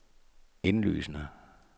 indlysende